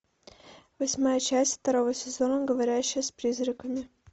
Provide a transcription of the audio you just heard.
восьмая часть второго сезона говорящая с призраками